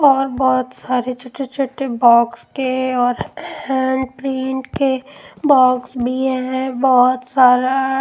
और बहुत सारे छोटे-छोटे बॉक्स के और हैंड प्रिंट के बॉक्स भी है बहुत सारा --